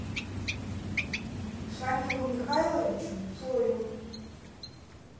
шамилу михайловичу цою